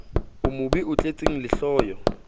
o mobe o tletseng lehloyo